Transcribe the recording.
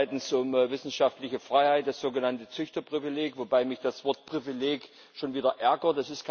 Es geht zweitens um wissenschaftliche Freiheit, das sogenannte Züchterprivileg, wobei mich das Wort Privileg schon wieder ärgert.